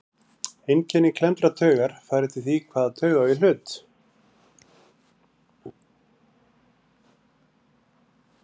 Einkenni klemmdrar taugar fara eftir því hvaða taug á í hlut.